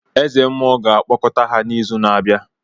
Eze mmuo ga-akpọkọta ha n’izu na-abịa.